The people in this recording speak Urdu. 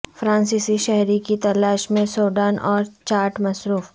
فرانسیسی شہری کی تلاش میں سوڈان اور چاڈ مصروف